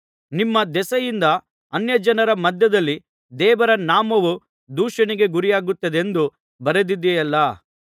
ನಿಮ್ಮ ದೆಸೆಯಿಂದ ಅನ್ಯಜನರ ಮಧ್ಯದಲ್ಲಿ ದೇವರ ನಾಮವು ದೂಷಣೆಗೆ ಗುರಿಯಾಗುತ್ತಿದೆಂದು ಬರೆದಿದೆಯಲ್ಲಾ